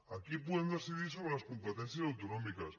aquí podem decidir sobre les competències autonòmiques